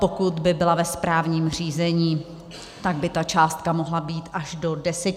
Pokud by byla ve správním řízení, tak by ta částka mohla být až do 10 tisíc korun.